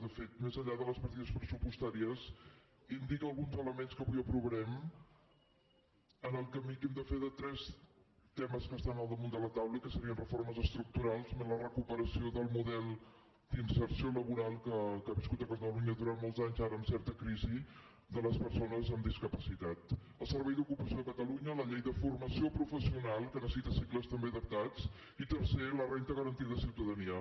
de fet més enllà de les partides pressupostàries indica alguns elements que avui aprovarem en el camí que hem de fer de tres temes que estan al damunt de la taula i que serien reformes estructurals més la recuperació del model d’inserció laboral que ha viscut a catalunya durant molts anys ara amb certa crisi de les persones amb discapacitat el servei d’ocupació de catalunya la llei de formació professional que necessita cicles també adaptats i tercer la renda garantida de ciutadania